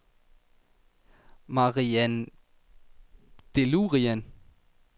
Marian Deleuran